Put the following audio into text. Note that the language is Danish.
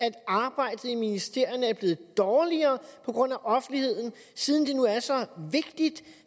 at arbejdet i ministerierne er blevet dårligere på grund af offentligheden siden det nu er så vigtigt